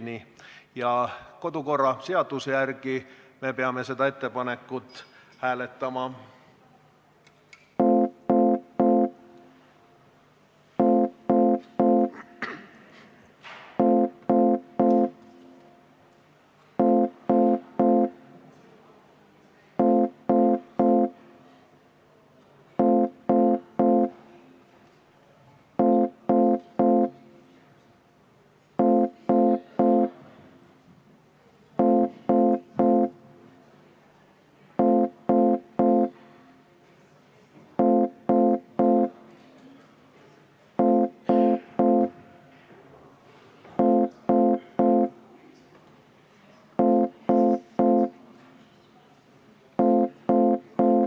Kodu- ja töökorra seaduse järgi peame seda ettepanekut hääletama.